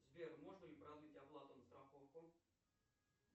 сбер можно ли продлить оплату на страховку